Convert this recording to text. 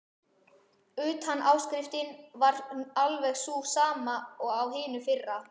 Utanáskriftin var alveg sú sama og á hinu fyrra.